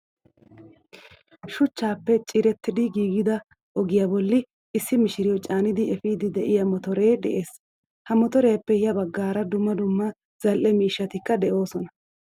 Shuchchappe ciirettidi giigida ogiyaa bollii issi mishiriyo caanidi efidi de'iyaa motore de'ees. Ha motoriyappe ya baggaara dumma dumma zal'ee miishshatikka de'osona.